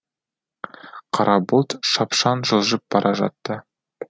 қара бұлт шапшаң жылжып бара жатты